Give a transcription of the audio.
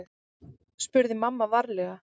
spurði mamma varlega.